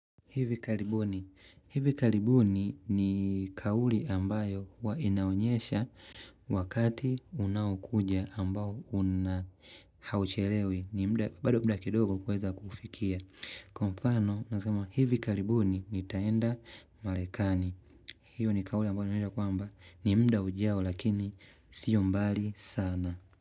Hivi karibuni. Hivi karibuni ni kauli ambayo huwa inaonyesha wakati unaokuja ambao una hauchelewi ni muda bado muda kidogo kuweza kufikili. Kwa mfano, unasema hivi karibuni nitaenda marekani. Hiyo ni kauli ambayo inanena kwamba ni muda ujao lakini siyo mbali sana.